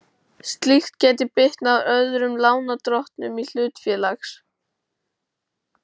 Slíkt gæti bitnað á öðrum lánardrottnum hlutafélags.